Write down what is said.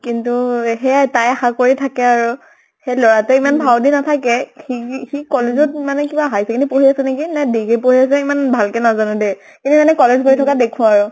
কিন্তু সেয়া তাই আশা কৰি থাকে আৰু । সেই লʼৰা তোৱে ইমান ভাও দি নাথাকে । সি, সি college ত মানে কিবা higher secondary পঢ়ি আছে নেকি, নে degree পঢ়ি আছে , ইমান ভাল কে নাজানো দেই । কিন্তু মানে college গৈ থকা দেখু আৰু ।